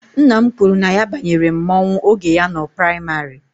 Nna m kwuru na ya banyere mmọnwụ oge ya nọ praịmarị.